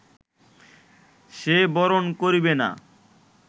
সে বরণ করিবে না